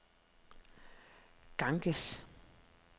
Ganges